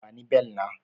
Bani bel na!